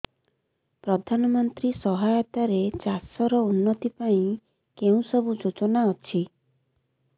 ପ୍ରଧାନମନ୍ତ୍ରୀ ସହାୟତା ରେ ଚାଷ ର ଉନ୍ନତି ପାଇଁ କେଉଁ ସବୁ ଯୋଜନା ଅଛି